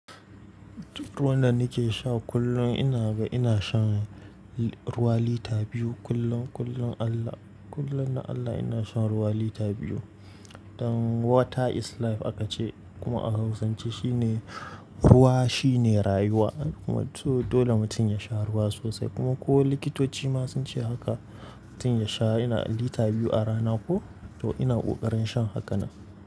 Ruwan da ni ke sha kullun ina ga ina shan ruwa lita biyu kullum. Kullum Allah, kullum na Allah ina shan ruwa lita biyu. Dan water is life aka ce kuma a hausance shi ne ruwa shi ne rayuwa. Kuma to dole mutum ya sha ruwa sosai kuma ko likitoci ma sun ce haka. Mutum ya sha ina lita biyu a rana ko to ina kokarin shan haka nan.